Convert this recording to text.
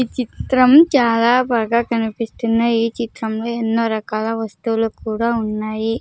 ఈ చిత్రం చాలా బాగా కనిపిస్తున్నాయ్ ఈ చిత్రంలో ఎన్నో రకాల వస్తువులు కూడా ఉన్నాయి.